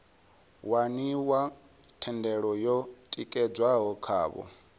waniwa thendelo yo tikedzwaho khavho